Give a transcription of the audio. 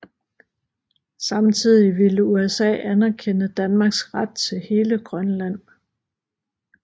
Samtidig ville USA anerkende Danmarks ret til hele Grønland